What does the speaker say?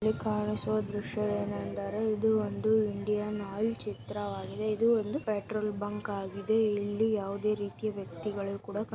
ಇಲ್ಲಿ ಕಾಣಿಸುವ ದೃಶ್ಯವೇನೆಂದರೆ ಇದು ಒಂದು ಇಂಡಿಯನ್ ಆಯಿಲ್ ಚಿತ್ರವಾಗಿದೆ ಇದು ಒಂದು ಪೆಟ್ರೋಲ್ ಬಂಕ್ ಆಗಿದೆ ಇಲ್ಲಿ ಯಾವದೇ ರೀತಿಯ ವ್ಯಕ್ತಿಗಳು ಕೂಡ --